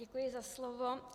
Děkuji za slovo.